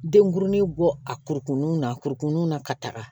Denkurunin bɔ a kurukurunin na a kurukurunin na ka taga